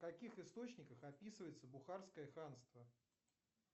в каких источниках описывается бухарское ханство